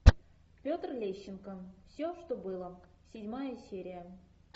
петр лещенко все что было седьмая серия